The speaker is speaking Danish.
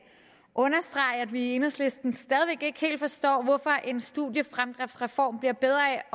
understrege at vi i enhedslisten stadig væk ikke helt forstår hvorfor en studiefremdriftsreform bliver bedre af